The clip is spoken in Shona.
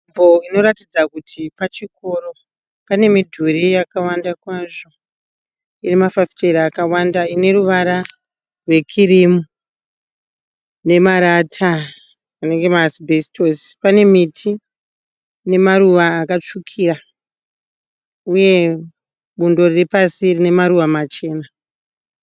Nzvimbo inoratidza kuti pachikoro. Pane midhuri yakawanda kwazvo inemafafitera akawanda . Ine ruvara rwekirimu nemarata anenge maasibhesitosi . Pane miti ine maruva akatsvukira uye bundo riripasi rine maruva machena.